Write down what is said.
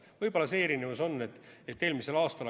Võib-olla see erinevus on, et eelmisel aastal ...